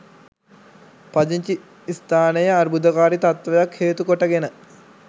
පදිංචි ස්ථානයේ අර්බුදකාරි තත්ත්වයක් හේතු කොටගෙන